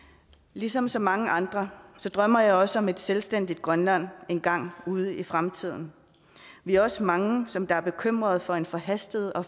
ligesom så mange andre drømmer jeg også om et selvstændigt grønland engang ude i fremtiden vi er også mange som er bekymrede for en forhastet og